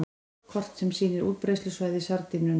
Kort sem sýnir útbreiðslusvæði sardínunnar.